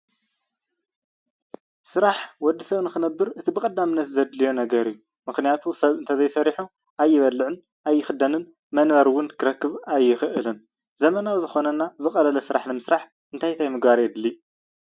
ስራሕ ወዲ ሰብ ንክነብር እቲ ብቀዳምነት ዘድልዮን ነገር እዩ፡፡ ምክንያቱ ሰብ እንተዘይ ሰሪሑ ኣይበልዕን ኣይክደንን መንበሪ እውን ክረክብ ኣይክእልን፡፡ ዘመናዊ ዝኮነና ዝቀለለ ስራሕ ንምስራሕ እንታይ እንታይ ምግባር የድሊ?